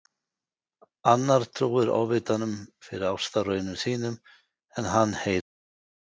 Annar trúir Ofvitanum fyrir ástarraunum sínum en hann heyrir ekki.